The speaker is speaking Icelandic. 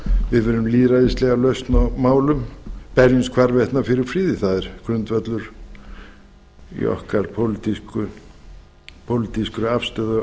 við viljum lýðræðislega lausn á málum berjumst hvarvetna fyrir friði það er grundvöllur í okkar pólitísku afstöðu